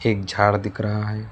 एक झाड़ दिख रहा है।